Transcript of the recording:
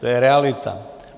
To je realita.